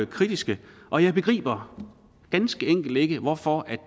kritiske og jeg begriber ganske enkelt ikke hvorfor